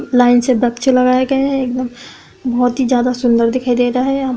line से लगाए गए हैं एकदम बोहोत ही ज्यादा सुंदर दिख रहा है --